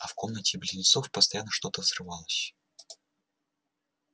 а в комнате близнецов постоянно что-то взрывалось